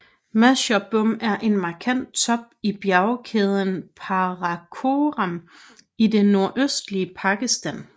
Masherbrum er en markant top i bjergkæden Karakoram i det nordøstlige Pakistan